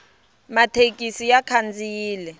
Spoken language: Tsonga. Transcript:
mathekisi ya khandziyile